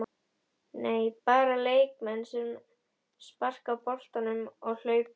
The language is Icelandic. Nei, Bara leikmenn sem sparka boltanum og hlaupa?